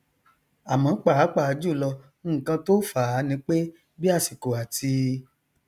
àmọ pàápàá jùlọ nnkan tó fàá nipé bí àsìkò àti